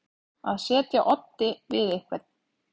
Að etja oddi við einhvern